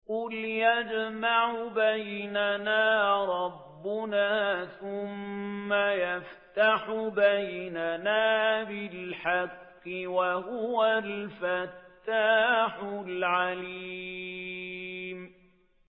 قُلْ يَجْمَعُ بَيْنَنَا رَبُّنَا ثُمَّ يَفْتَحُ بَيْنَنَا بِالْحَقِّ وَهُوَ الْفَتَّاحُ الْعَلِيمُ